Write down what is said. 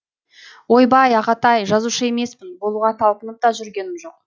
ойбай ағатай жазушы емеспін болуға талпынып та жүргенім жоқ